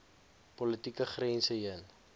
politieke grense heen